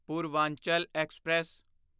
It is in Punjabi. ਪੂਰਵਾਂਚਲ ਐਕਸਪ੍ਰੈਸ